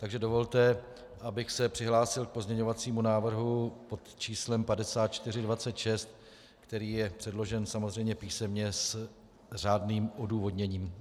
Takže dovolte, abych se přihlásil k pozměňovacímu návrhu pod číslem 5426, který je předložen samozřejmě písemně s řádným odůvodněním.